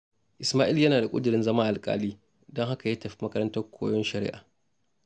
Ismai'l yana da ƙudirin zama Alƙali, don haka ya tafi makarantar koyon shari'a.